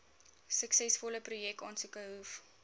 suksesvolle projekaansoeke hoef